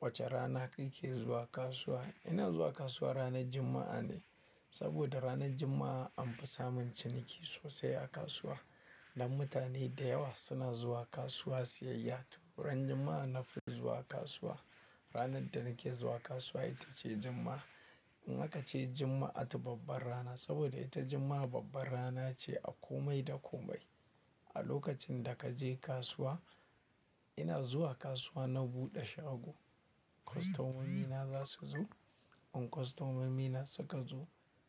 Wace rana kake zuwa kasuwa? Ina zuwa kasuwa ranar Juma'a ne, saboda ranar Juma'a an fi samun ciniki sosai a kasuwa. Dan mutane da yawa suna zuwa kasuwa siyayya. To ran Juma'a nafi zuwa kasuwa. Ranar da nake zuwa kasuwa ita ce Juma'a. In aka ce Juma'atu babbar rana saboda ita Juma'a babbar rana ce a komai da komai. A lokacin da ka je kasuwa, ina zuwa kasuwa na buɗe shago. Kostomomina za su zo. In kostomomina suka zo,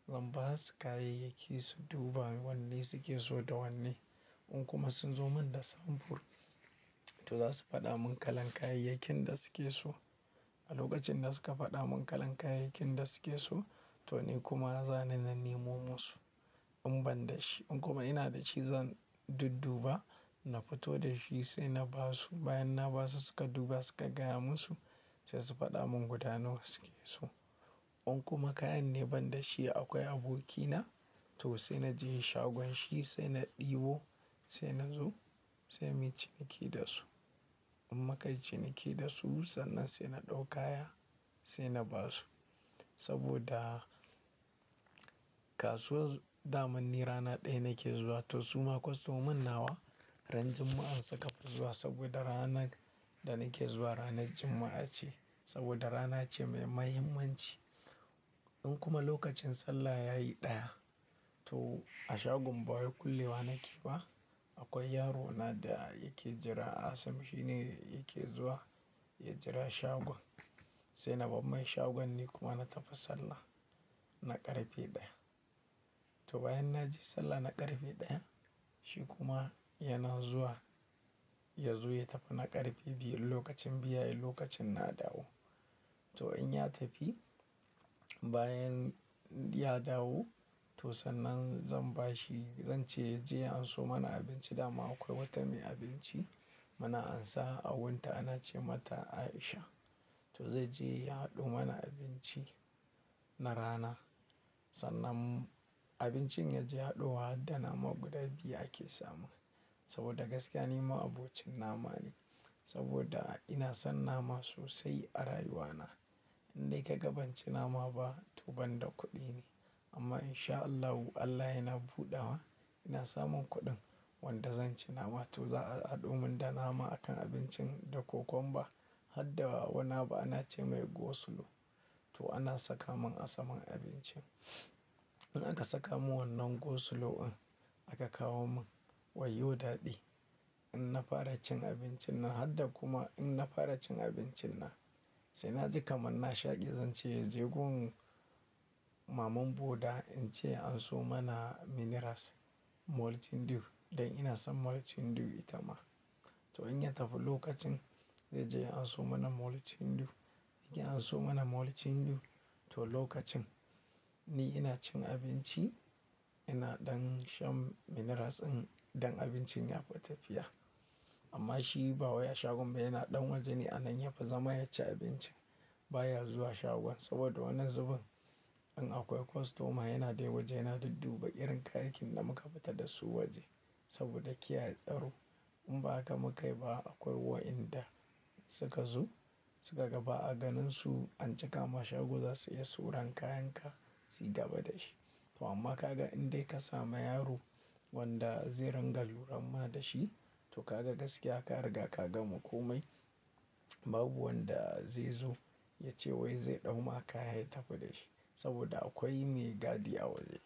zan ba su kayayyaki su duba wanne suke so da wanne. In kuma sun zo min da samfur, to za su faɗa mun kalan kayayyakin da suke so. A lokacin da suka faɗa mun kalan kayayyakin da suke so to ni kuma zan nanemo musu in ban da shi. In kuma ina da shi zan dudduba, na fito da shi sai na ba su. Bayan na ba su suka duba suka gaya mun su sai su faɗa mun guda nawa suke so. In kuma kayan ne ban da shi akwai abokina to sai na je shagon shi sai na ɗibo sai na zo sai muyi ciniki da su. In muka yi ciniki da su sannan sai na ɗau kayan sai na ba su. Saboda kasuwa damanni rana ɗaya nake zuwa. To suma kostomun nawa ran Juma'a suka fi zuwa saboda ranar da nake zuwa ranar Juma'a ce. Saboda rana ce mai muhimmanci. In kuma lokacin sallah yayi ɗaya to a shagon bawai kulewa nake ba akwai yaro na da yake jira. Asam shi ne yake zuwa ya jira shagon sai na bammai shagon ni kuma na tafi sallah na ƙarfe ɗaya. To bayan na je sallah na ƙarfe ɗaya shi kuma yana zuwa ya zo ya tafi na ƙarfe biyun lokacin bayan okacin na dawo. To in ya tafi bayan ya dawo to sannan zan bashi zan ce ya je anso mana abinci dama akwai wata mai abinci muna ansa a wunta anace mata Aisha. To zai je ya haɗo mana abinci na rana. Sannan abincin ya je haɗowa har da nama guda biyu ake samu. Saboda gaskiya ni ma abocin nama ne saboda ina son nama sosai a rayuwa na. Indai ka ga banci nama ba to ban da kuɗi ne. Amma in sha Allahu Allah yana buɗawa ina samun kuɗin wanda zan ci nama to za a haɗo mun da nama a kan abincin da kokomba har da wani abu anace mai gosulo. To ana saka man a saman abincin. In aka saka mun wannan gosulo in aka kawo mun wai yo daɗi. In na fara cin abincin na har da kuma in na fara cin abincin na sai na ji kamar na shaƙi zan ce ya je gun maman boda in ce anso mana minerals maltin dew dan ina son maltin dew ita ma. To in ya tafi lokacin zai je anso mana maltin dew yake anso mana maltin dew. To lokacin ni ina cin abinci ina ɗan shan minerals in don abincin ya fi tafiya. Amma shi bawai a shagon ba yana ɗan waje ne a nan yafi zama ya ci abinci baya zuwa shagon. Saboda wannan zuban in akwai kostoma yana dai waje yana dudduba irin kayakin da muka fita da su waje saboda kiyaye tsaro. In ba haka mukai ba akwai wa inda suka zo suka gaba a ganin su an cika ma shago za su iya suran kayan ka suy gaba da shi. To amma ka ga indai ka samu yaro wanda zai rangar lura ma da shi to ka ga gaskiya ka riga ka ga makomai babu wanda zai zo ya ce wai zai ɗau maka kayan ya tafi dashi saboda akwai mai gadi a waje.